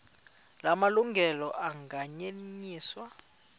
la malungelo anganyenyiswa